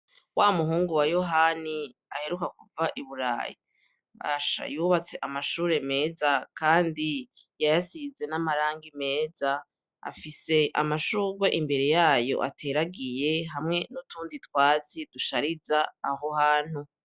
Wa muhungu wa yohani aheruka kuva i burayi, basha yubatse amashure meza, kandi yayasize n'amarangi meza, afise amashurwe imbere yayo ateragiye hamwe n'utundi twatsi dushariza aho hantu.